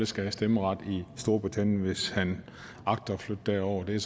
skal have stemmeret i storbritannien hvis han agter at flytte derover det